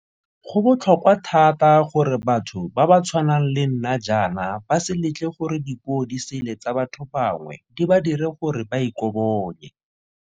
Go botlhokwa thata gore batho ba ba tshwanang le nna jaana ba se letle gore dipuodisele tsa ba tho bangwe di ba dire gore ba ikobonye.